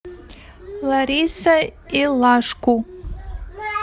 лариса илашку